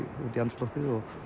út í andrúmsloftið